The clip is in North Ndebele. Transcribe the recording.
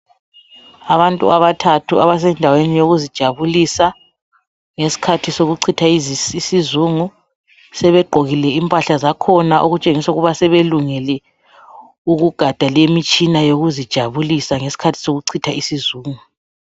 Abantu abathathu abasendaweni yokuzijabulisa ngesikhathi sokuchitha isizungu. Sebegqokile impahla zakhona okutshengisa ukuba sebelungele ukugada lemitshina yokuzijabulisa ngesikhathi sokuchitha isizungu.